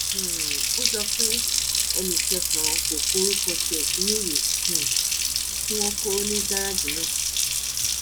um ó jọ pé ẹnì kẹsànán kò kórúkọ tiẹ sínú ìwé um tí wọn kò ní gẹrẹẹjì náà